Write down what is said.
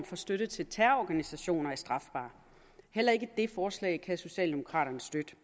for støtte til terrororganisationer er strafbar heller ikke det forslag kan socialdemokraterne støtte